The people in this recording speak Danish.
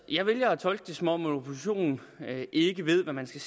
jeg vælger at tolke det som om oppositionen ikke ved hvad man skal